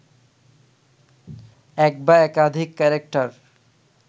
এক বা একাধিক ক্যারেক্টার